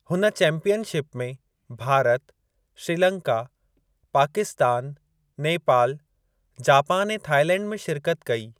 हुन चैंपीयनशिप में भारत, श्रीलंका, पाकिस्तान, नेपाल, जपान ऐं थाईलैंड में शिरकत कई।